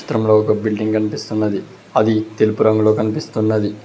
చిత్రంలో ఒక బిల్డింగ్ కనిపిస్తున్నది అది తెలుపు రంగులో కనిపిస్తున్నది.